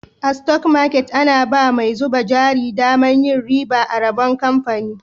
A" stock market " ana ba mai zuba jari daman yin riba a rabon kamfani.